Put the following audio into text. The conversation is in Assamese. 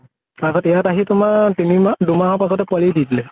তাৰ পাছত ইয়াত আহি তোমাৰ তিনি মাহ, দুমাহৰ পাছতে পোৱালী দি দিলে।